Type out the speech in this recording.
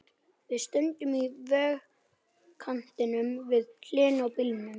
Við stöndum í vegkantinum, við hliðina á bílnum.